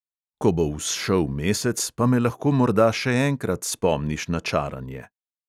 "Ko bo vzšel mesec, pa me lahko morda še enkrat spomniš na čaranje."